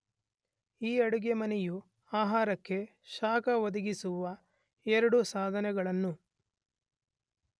ಈ ಅಡುಗೆಮನೆಯು ಆಹಾರಕ್ಕೆ ಶಾಖ ಒದಗಿಸುವ ಎರಡು ಸಾಧನಗಳನ್ನು